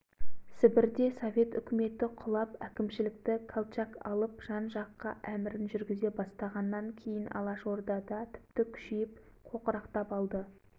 ондағы қаратілеуұлы мен кенжеұлы қашып торғай барып торғай алашордасына қосылып әкім болып кетті